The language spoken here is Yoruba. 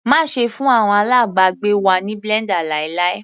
Má ṣe fún àwọn alábàgbé wa ní blender láíláí.